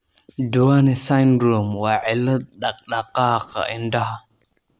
Duane syndrome waa cillad dhaqdhaqaaqa indhaha.